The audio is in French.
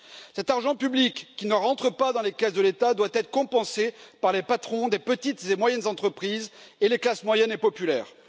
Cet argent public qui ne rentre pas dans les caisses de l'État doit être compensé par les patrons des petites et moyennes entreprises et les classes moyennes et populaires.